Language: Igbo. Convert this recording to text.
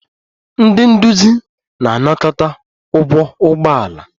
Ndị nduzi na-anakọta ụgwọ ụgbọ ala